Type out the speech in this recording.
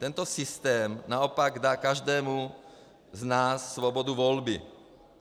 Tento systém naopak dá každému z nás svobodu volby.